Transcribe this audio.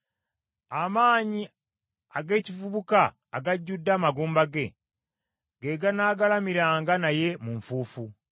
Amaanyi ag’ekivubuka agajjudde amagumba ge, ge ganaagalamiranga naye mu nfuufu.